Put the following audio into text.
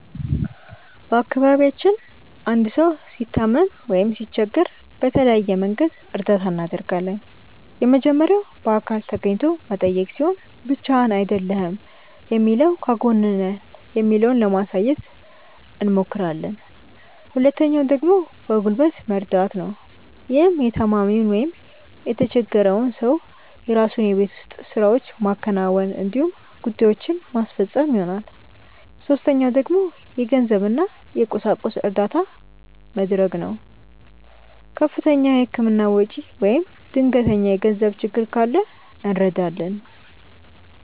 በአካባቢያችን አንድ ሰው ሲታመም ወይም ሲቸገር በተለያየ መንገድ እርዳታ እናደርጋለን። የመጀመሪያው በአካል ተገኝቶ መጠየቅ ሲሆን ብቻህን አይደለህም የሚለውን ከጎንህ ነን የሚለውን ለማሳየት አብሞክራለን። ሁለተኛው ደግሞ በጉልበት መርደት ነው። ይህም የታማሚውን ወይም የተቸፈረውን ሰው የራሱን የቤት ውስጥ ስራዎች ማከናወን እንዲሁም ጉዳዬችን ማስፈፀን ይሆናል። ሶስተኛው ደግሞ የገንዘብ እና የቁሳቁስ እርዳታ መድረግ ነው። ከፍተኛ የህክምና ወጪ ወይም ድንገተኛ የገንዘብ ችግር ካለ እንረዳለን።